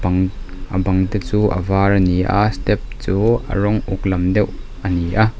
a bang te chu a var a ni a step chu a rawng uk lam deuh a ni a.